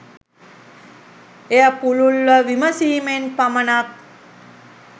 එය පුළුල්ව විමසීමෙන් පමණක්